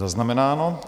Zaznamenáno.